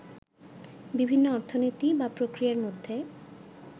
বিভিন্ন অর্থনীতি বা প্রক্রিয়ার মধ্যে